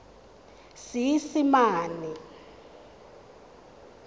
seesimane